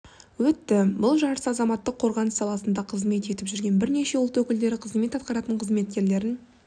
өтті бұл жарыс азаматтық қорғаныс саласында қызмет етіп жүрген бірнеше ұлт өкілдері қызмет атқаратын қызметкерлерін